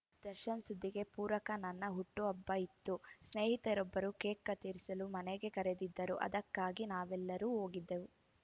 ದರ್ಶನ್‌ ಸುದ್ದಿಗೆ ಪೂರಕ ನನ್ನ ಹುಟ್ಟುಹಬ್ಬ ಇತ್ತು ಸ್ನೇಹಿತರೊಬ್ಬರು ಕೇಕ್‌ ಕತ್ತರಿಸಲು ಮನೆಗೆ ಕರೆದಿದ್ದರು ಅದಕ್ಕಾಗಿ ನಾವೆಲ್ಲ ಹೋಗಿದ್ದೆವು